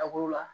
A b'o la